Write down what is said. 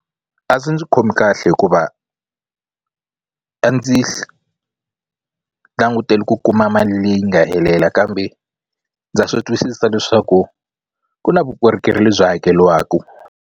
A swi ndzi khomi kahle hikuva a ndzi langutele ku kuma mali leyi nga helela kambe ndza swi twisisa leswaku ku na vukorhokeri lebyi hakeliwaku.